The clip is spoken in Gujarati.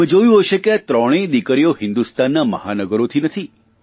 તમે જોયું હસે કે આ ત્રણેય દિકરીઓ હિંદુસ્તાનના મહાનગરોની નથી